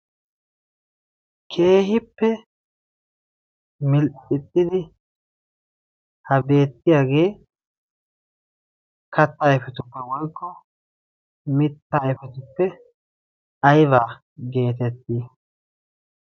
keehippe milxixxidi ha beettiyaagee kattaa ayfetuppe woykko mitta ayfetuppe ayba geetettii